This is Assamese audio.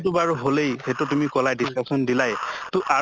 তো বাৰু হʼলেই সেইটো তুমি কলাই discussion দিলায় তʼ আৰু